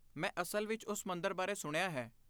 ਮੈਂ ਅਸਲ ਵਿੱਚ ਉਸ ਮੰਦਰ ਬਾਰੇ ਸੁਣਿਆ ਹੈ।